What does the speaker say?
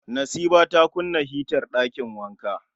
Nasiba ta kunna hitar ɗakin wanka